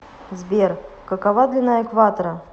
сбер какова длина экватора